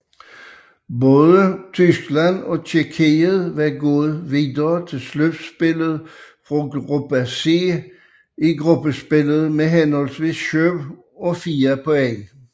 Både Tyskland og Tjekkiet var gået videre til slutspillet fra Gruppe C i gruppespillet med henholdsvis syv og fire point